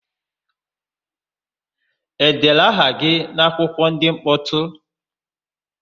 E dere aha gị n'akwụkwọ ndị mkpọtụ?